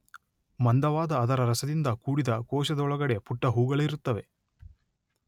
ಮಂದವಾದ ಅದರ ರಸದಿಂದ ಕೂಡಿದ ಕೋಶದೊಳಗಡೆ ಪುಟ್ಟ ಹೂಗಳಿರುತ್ತವೆ.